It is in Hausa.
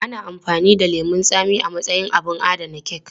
Ana amfani da lemun tsami a matsayin abin adana kek.